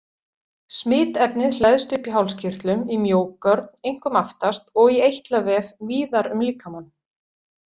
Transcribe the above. Smitefnið hleðst upp í hálskirtlum, í mjógörn, einkum aftast, og í eitlavef víðar um líkamann.